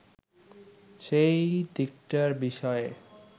সেই দিকটার বিষয়ে